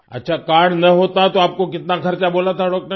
अच्छा कार्ड ना होता तो आप को कितना खर्चा बोला था डॉक्टर ने